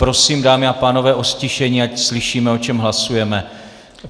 Prosím, dámy a pánové, o ztišení, ať slyšíme, o čem hlasujeme.